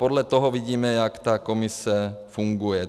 Podle toho vidíme, jak ta Komise funguje.